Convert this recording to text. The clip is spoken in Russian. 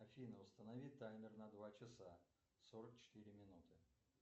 афина установи таймер на два часа сорок четыре минуты